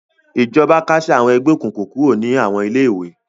Ìjọba kásẹ̀ àwọn ẹgbẹ́ òkùnkùn kúrò ní àwọn ilé-ìwé.